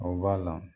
O b'a la